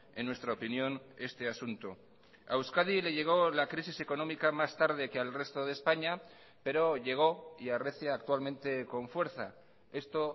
en nuestra opinión este asunto a euskadi le llegó la crisis económica más tarde que al resto de españa pero llegó y arrecia actualmente con fuerza esto